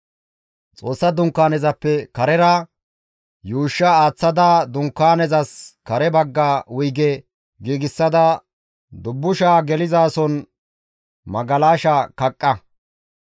Xoossa Dunkaanezappe karera yuushsha aaththada Dunkaanezas kare bagga wuyge giigsada dubbushaa gelizason magalasha kaqqa.